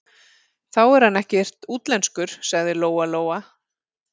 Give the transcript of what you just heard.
Þá er hann ekkert útlenskur, sagði Lóa-Lóa.